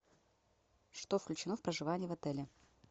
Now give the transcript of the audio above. что включено в проживание в отеле